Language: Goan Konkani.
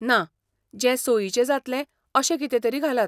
ना, जें सोयीचें जातलें अशें कितेंतरी घालात.